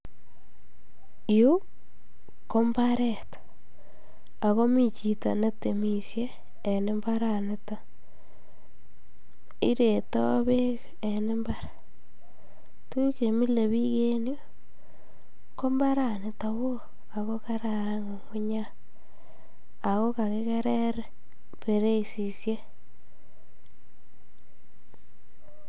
Yuu ko mbaret ak komii chito netemishe en imbaraniton, iretoo beek en imbar, tukuk chemilebik en yuu ko mbaraniton kowoo ak ko kararan ng'ung'unyat ak ko kakikerer bereisishek.